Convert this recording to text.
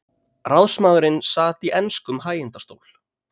Ráðsmaðurinn sat í enskum hægindastól.